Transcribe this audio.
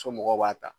Somɔgɔw b'a ta